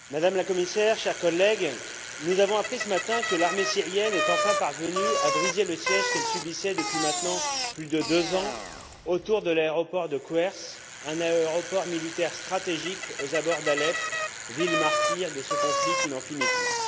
Madame la Présidente, Madame la Commissaire, chers collègues, nous avons appris ce matin que l'armée syrienne est enfin parvenue à briser le siège qu'elle subissait depuis plus de deux ans maintenant autour de l'aéroport de Kweires, un aéroport militaire stratégique aux abords d'Alep, ville martyre de ce conflit qui n'en finit plus.